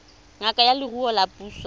ngaka ya leruo ya puso